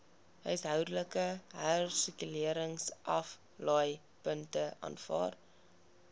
huishoudelike hersirkuleringsaflaaipunte aanvaar